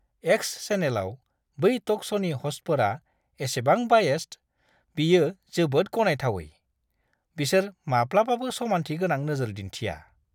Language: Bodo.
एक्स चेनेलाव बै टक श'नि ह'स्टफोरा इसेबां बायेस्ड, बेयो जोबोद गनायथावै। बिसोर माब्लाबाबो समान्थि गोनां नोजोर दिन्थिया!